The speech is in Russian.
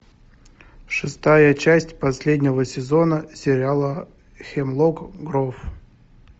шестая часть последнего сезона сериала хемлок гроув